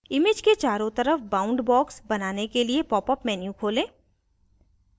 image के चारों तरफ bound box बनाने के लिए popअप menu खोलें